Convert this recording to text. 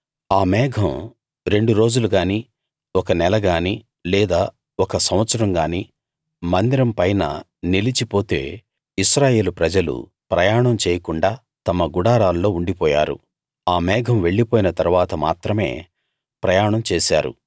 ఆ మేఘం రెండు రోజులు గానీ ఒక నెల గానీ లేదా ఒక సంవత్సరం గానీ మందిరం పైన నిలిచి పొతే ఇశ్రాయేలు ప్రజలు ప్రయాణం చేయకుండా తమ గుడారాల్లో ఉండి పోయారు ఆ మేఘం వెళ్లి పోయిన తరువాత మాత్రమే ప్రయాణం చేశారు